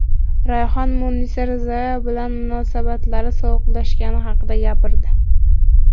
Rayhon Munisa Rizayeva bilan munosabatlari sovuqlashgani haqida gapirdi.